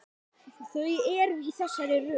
Þau eru í þessari röð